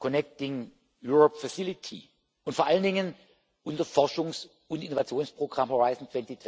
Connecting Europe und vor allen Dingen unser Forschungs und Innovationsprogramm Horizont